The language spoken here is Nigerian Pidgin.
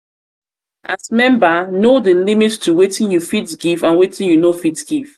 as member know di limit to wetin you fit give and wetin you no fit give